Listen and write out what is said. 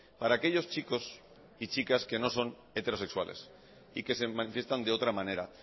para aquellos chicos y chicas que no son heterosexuales y que se manifiestan de otra manera